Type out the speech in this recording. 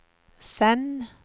send